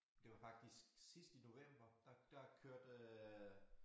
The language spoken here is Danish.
Det var faktisk sidst i november der der kørte øh